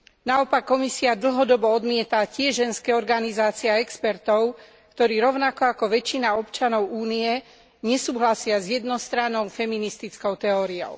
Naopak Komisia dlhodobo odmieta tie ženské organizácie a expertov, ktorí rovnako ako väčšina občanov Únie nesúhlasia s jednostrannou feministickou teóriou.